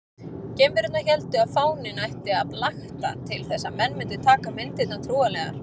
Geimverurnar héldu að fáninn ætti að blakta til þess að menn mundu taka myndirnar trúanlegar.